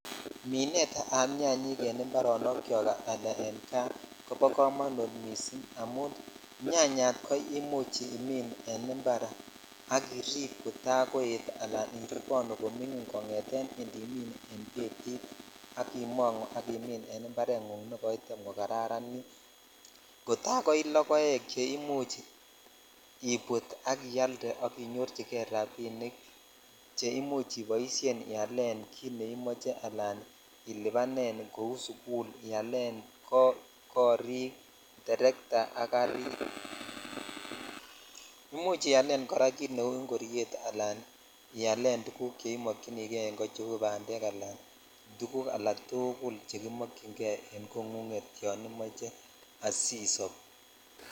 Minet ab nyanyik en ibsronokyok ala en kaa kobo komonut missing amun nyanyat ko imuch imin en impar ak irip kotakoet ala iriponu komingin kongeten indimin in betit ak imongu ak imin en imparengung negoitem kokararanit kotakoi lokoek che imuch ibut ak islde ak inyorchikei rabinik che imuch iboishen ialen kit neimoche al ilibanen kou sukul ialen korik ,tertaa ,garit imuch ilen kora kit neu ingoryet alan kit neimykinikei en kot cheu bandek ala tuguk alatukul chekimokyon kei en kongunget yon imoche yon imoche isob.